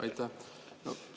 Aitäh!